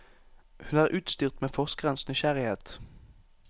Hun er utstyrt med forskerens nysgjerrighet.